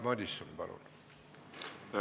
Jaak Madison, palun!